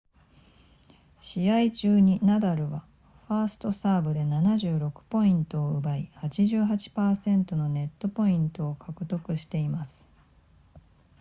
試合中にナダルはファーストサーブで76ポイントを奪い 88% のネットポイントを獲得しています